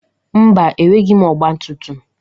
Mba, enweghị m ọgba tum tum.